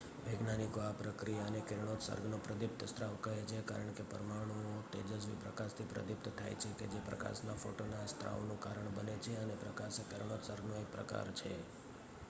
"વૈજ્ઞાનિકો આ પ્રકિયાને "કિરણોત્સર્ગનો પ્રદીપ્ત સ્ત્રાવ" કહે છે કારણ કે પરમાણુઓ તેજસ્વી પ્રકાશથી પ્રદીપ્ત થાય છે જે પ્રકાશના ફોટોનનાં સ્ત્રાવનું કારણ બને છે અને પ્રકાશ એ કિરણોત્સર્ગનો એક પ્રકાર છે.